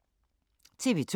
TV 2